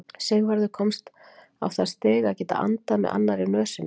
Sigvarður komst á það stig að geta andað með annarri nösinni.